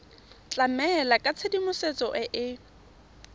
tlamela ka tshedimosetso e e